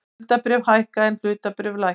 Skuldabréf hækka en hlutabréf lækka